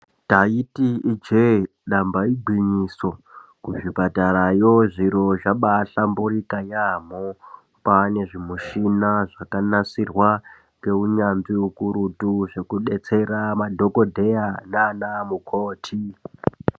Ndaiti ijehe damba igwinyiso kuzvipatara yoo zviro zvambayi hlamburuka yaambo kwaane zvimushina zvakanasirwa nounyanzvu hukurutu zvokubetsera madhokodheya nana mukhoti.